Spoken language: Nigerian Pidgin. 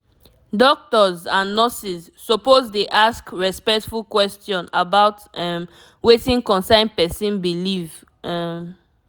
doctors and nurses suppose dey ask respectful question about um wetin concern person belief um